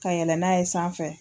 Ka yɛlɛ n'a ye sanfɛ.